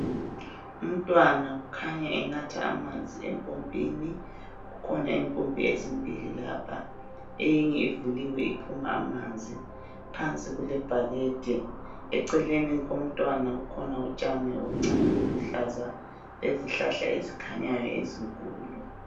Umntwana kukhanya enatha amanzi empompini, kukhona impompi ezimbili lapha eyinye ivuliwe iphuma amanzi phansi kulebhakede eceleni komntwana kukhona utshani obuncane obuluhlaza lezihlahla ezikhanyayo ezinkulu.